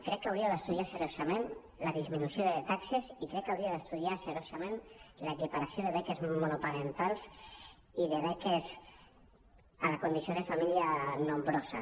crec que hauríeu d’estudiar seriosament la dis·minució de taxes i crec que hauríeu d’estudiar seriosament l’equiparació de beques monoparentals i de beques a la condició de família nombrosa